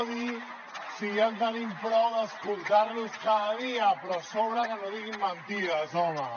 o sigui ja en tenim prou d’escoltar los cada dia però a sobre que no diguin mentides home